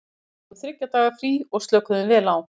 Við fengum þriggja daga frí og slökuðum vel á.